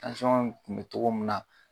tun be togo min na